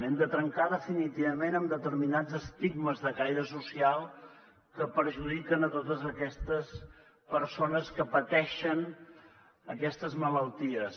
hem de trencar definitivament amb determinats estigmes de caire social que perjudiquen totes aquestes persones que pateixen aquestes malalties